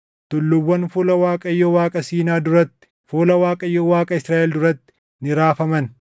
Tulluuwwan fuula Waaqayyo Waaqa Siinaa duratti, fuula Waaqayyo Waaqa Israaʼel duratti ni raafaman.